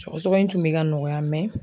Sɔgɔsɔgɔ in tun bɛ ka nɔgɔya